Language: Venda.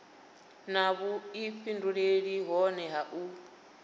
na vhuifhinduleli hohe ha u